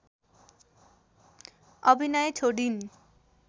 अभिनय छोडिन्